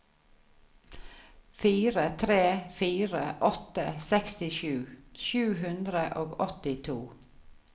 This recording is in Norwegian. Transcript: fire tre fire åtte sekstisju sju hundre og åttito